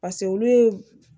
paseke olu ye